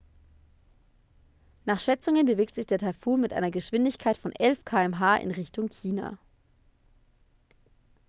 nach schätzungen bewegt sich der taifun mit einer geschwindigkeit von 11 km/h in richtung china